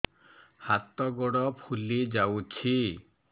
ହାତ ଗୋଡ଼ ଫୁଲି ଯାଉଛି